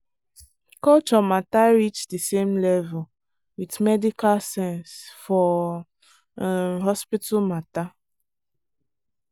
culture matter reach the same level with medical sense for um hospital matter.